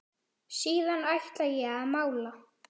Síðan ætla ég að mála.